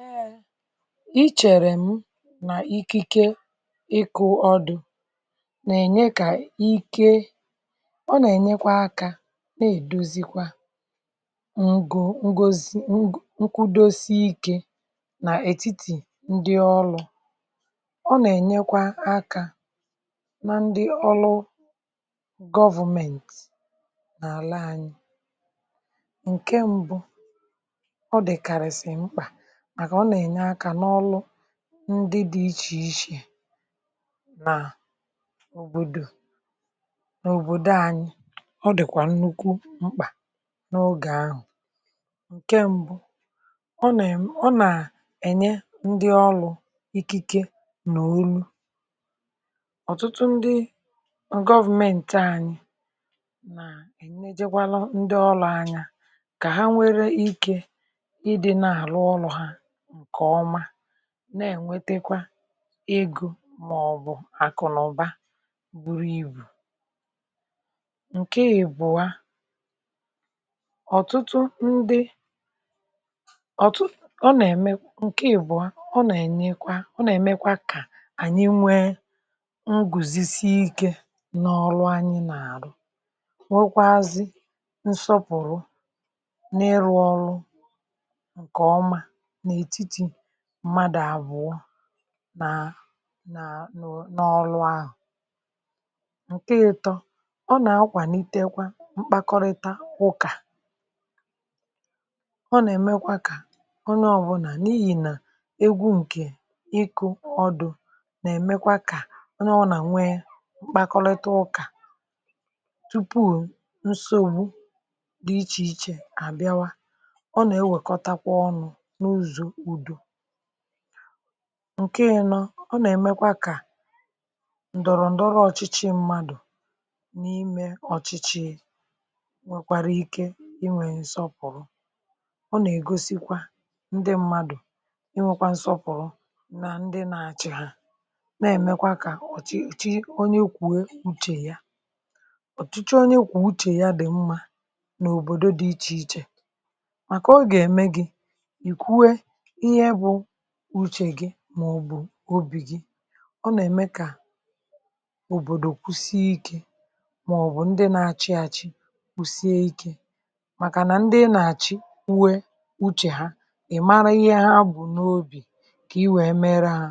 Ee, ị chere m nà ikike ịkụ ọdụ nà-ènye kà ike; ọ nà-ènyekwa aka nà-èduzikwa ǹgù ngozi nkwudosi ike nà ètitì ndị ọlụ, ọ nà-ènyekwa aka nà ndị ọlụ government n'àlà anyị. Nkè mbụ, ọ dị karisi mkpa maka ọ nà-ènye aka n'ọlụ ǹdị dị iche iche nà òbòdò, n’òbòdò anyị. Ọ dịkwà nnukwu mkpa n’ogè ahụ; ǹkè mbụ ọ na, ọ nà-ènye ndị ọlụ ikike nà onu ọ̀tụtụ ndị government anyị nà-èneje gwarụ ndị ọlụ anya kà ha nwere ike ị dị n'alu ọlụ ha nke ọma na-ènwetekwa ego màọbụ akụ na ụba buru ibù. Ǹkè'bụọ, ọ̀tụtụ ndị, ọ̀tụ, ọ nà-ème, ǹkè àbụọ, ọ nà-ènyekwa, ọ nà-èmekwa kà ànyị nwee ngwùzisiike n’ọrụ anyị nà-àrụ, nwekwazị nsọpụrụ na-ịrụ ọrụ nke ọma n'etiti mmadu àbụọ, nà nà nụ n’ọlụ ahụ. Ǹkè ịtọ, ọ nà-akwàlitekwa mkpakọrịta ụkà; ọ nà-èmekwa kà ọnye ọbụla, n’ihi nà egwu ǹkè ịkụ ọdụ nà-èmekwa kà ọnye ọbụla nwee mkpakọrịta ụkà tupu ǹsògbu dị iche iche àbịawa; ọ nà-ekwekotakwa ọnu n'ụzọ udo. Ǹkè ịnọ, ọ nà-èmekwa kà ǹdọrọndọrọ ọchịchị mmadụ n’ime ọchịchị nwekwara ike inwè nsọpụrụ; ọ nà-ègosikwa ndị mmadụ inwekwa nsọpụrụ nà ndị nà-achị ha, na-èmekwa kà ọchịchị onye kwùe uche ya. Ọ̀chịchị onye kwù uche ya dị mma n’òbòdò dị iche iche màkà ọ gà-ème gị ị kwụe ihe bụ uche gị màọbụ obì gị; ọ nà-ème kà òbòdò kwụsie ike màọbụ ndị na-achịachị kwụsie ike màkà nà ndị ị nà-àchị kwụè uche ha, ị mara ihe ha bụ n’obì kà i wèe mèrè hà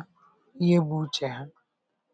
ihe bụ uche ha.